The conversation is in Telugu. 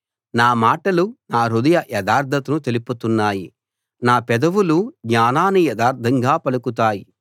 నా మాటలు నా హృదయ యథార్థతను తెలుపుతున్నాయి నా పెదవులు జ్ఞానాన్ని యథార్థంగా పలుకుతాయి